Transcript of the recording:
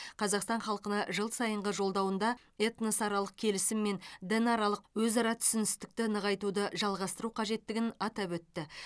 қазақстан халқына жыл сайынғы жолдауында этносаралық келісім мен дінаралық өзара түсіністікті нығайтуды жалғастыру қажеттігін атап өтті